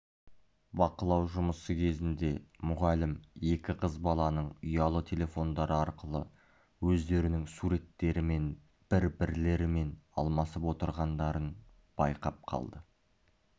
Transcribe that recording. бақылау жұмысы кезінде мұғалім екі қыз баланың ұялы телефондары арқылы өздерінің суреттерімен бір-бірлерімен алмасып отырғандарын байқап қалды